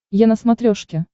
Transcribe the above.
е на смотрешке